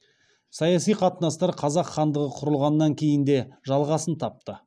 саяси қатынастар қазақ хандығы құрылғаннан кейін де жалғасын тапты